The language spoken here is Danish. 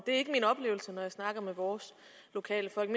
ikke min oplevelse når jeg snakker med vores lokale folk